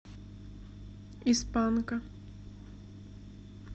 из панка